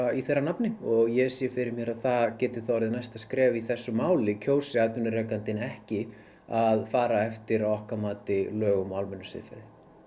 í þeirra nafni og ég sé fyrir mér að það geti verið næsta skref í þessu máli kjósi atvinnurekandinn ekki að fara eftir að okkar mati lögum og almennu siðferði